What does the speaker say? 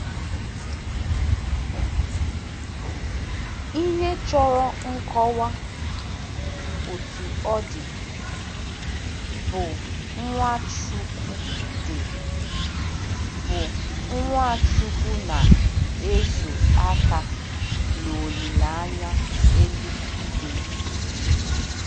Ihe chọrọ nkọwa, Otú ọ dị, bụ Nwachukwu dị, bụ Nwachukwu na-ezo aka n'olileanya eluigwe.